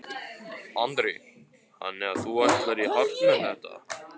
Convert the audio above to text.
Andri: Þannig að þú ætlar í hart með þetta?